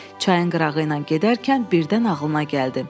Çayın qırağı ilə gedərkən birdən ağlına gəldi.